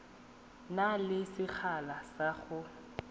na le sekgala sa go